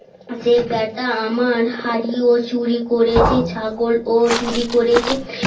সে বেটা আমার হাড়ি ও চুরি করেছে ছাগল ও চুরি করেছে